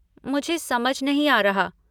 मुझे समझ नहीं आ रहा।